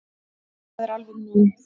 Það er alveg nóg.